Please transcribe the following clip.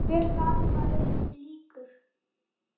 Hver dagur varð öðrum líkur.